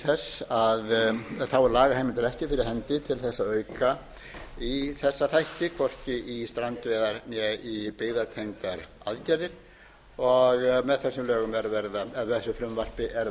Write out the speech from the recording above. þess að auka í þessa þætti hvorki í strandveiðar né í byggðatengdar aðgerðir með þessu frumvarpi er verið að sækja um